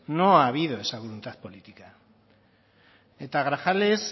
no ha habido esa voluntad política eta grajales